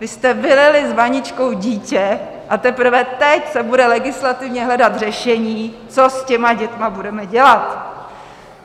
Vy jste vylili s vaničkou dítě a teprve teď se bude legislativně hledat řešení, co s těmi dětmi budeme dělat!